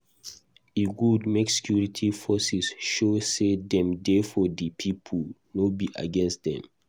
E good make security forces show say dem dey for di people, no be against dem.